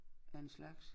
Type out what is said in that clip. Af en slags